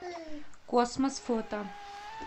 космос фото